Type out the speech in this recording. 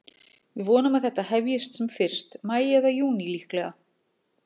Við vonum að þetta hefjist sem fyrst, maí eða júní líklega.